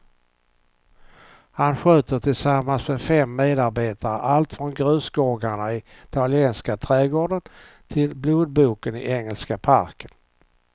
Han sköter tillsammans med fem medarbetare allt från grusgångarna i italienska trädgården till blodboken i engelska parken.